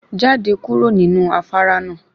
Jáde kúrò níbi afárá náà.